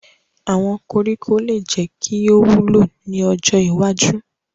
Awọn koriko le jẹ ki o wulo ni ojo iwaju